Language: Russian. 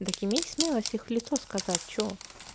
так имей смелость всех в лицо сказать что